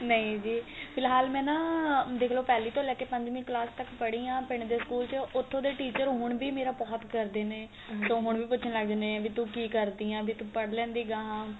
ਨਹੀਂ ਜੀ ਫਿਲਹਾਲ ਮੈਂ ਨਾ ਦੇਖ ਲੋ ਪਹਿਲੀ ਤੋਂ ਲੈ ਕੇ ਪੰਜਵੀ ਕਲਾਸ ਤੱਕ ਪੜੀ ਆ ਪਿੰਡ ਦੇ school ਚ ਉੱਥੋ ਦੇ teacher ਹੁਣ ਵੀ ਮੇਰਾ ਬਹੁਤ ਕਰਦੇ ਨੇ ਤੋ ਹੁਣ ਵੀ ਪੁੱਛਣ ਲੱਗ ਜਾਂਦੇ ਨੇ ਬੀ ਤੂੰ ਕੀ ਕਰਦੀ ਏ ਵੀ ਤੂੰ ਪੜ ਲੈਂਦੀ ਗਾਂਹ